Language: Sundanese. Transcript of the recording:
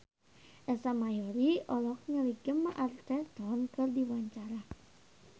Ersa Mayori olohok ningali Gemma Arterton keur diwawancara